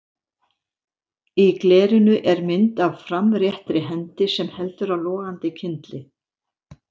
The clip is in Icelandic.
Í glerinu er mynd af framréttri hendi sem heldur á logandi kyndli.